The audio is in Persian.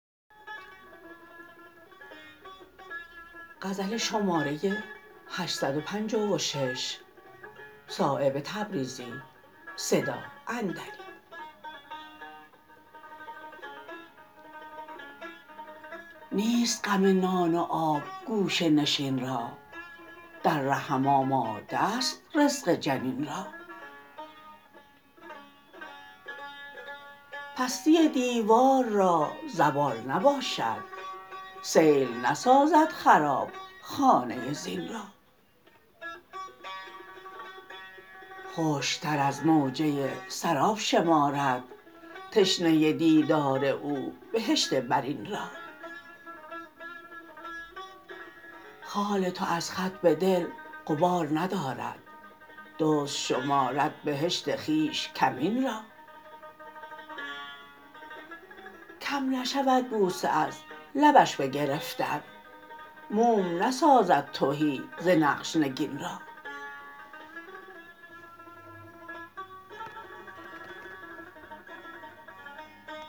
نیست غم نان و آب گوشه نشین را در رحم آماده است رزق جنین را پستی دیوار را زوال نباشد سیل نسازد خراب خانه زین را خشک تر از موجه سراب شمارد تشنه دیدار او بهشت برین را خال تو از خط به دل غبار ندارد دزد شمارد بهشت خویش کمین را کم نشود بوسه از لبش به گرفتن موم نسازد تهی ز نقش نگین را